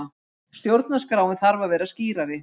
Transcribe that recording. Stjórnarskráin þarf að vera skýrari